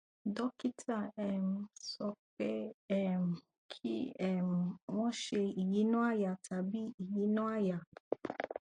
dókítà um sọ pé um kí um wọn ṣe ìyínà àyà tàbí ìyínà àyà